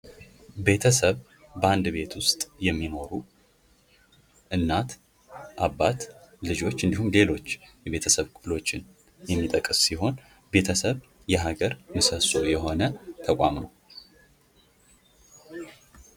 ቤተሰብ በአንድ ቤት ውስጥ የሚኖሩ እናት ፣ አባት ፣ልጆች እንዲሁም ሌሎች የቤተሰብ ክፍሎችን የሚጠቅስ ሲሆን ቤተሰብ የሀገር ምሰሶ የሆነ ተቋም ነው ።